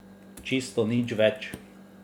Čisto nič več.